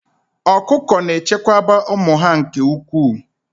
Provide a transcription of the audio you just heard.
Ọkụkọ na-echekwaba ụmụ ha nke ukwuu